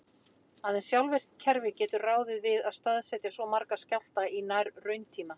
Aðeins sjálfvirkt kerfi getur ráðið við að staðsetja svo marga skjálfta í nær-rauntíma.